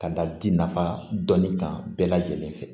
Ka da di nafa dɔnnin kan bɛɛ lajɛlen fɛ